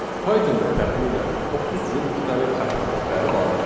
Pythonda təxminən 30 cür müxtəlif xəta tipləri vardır.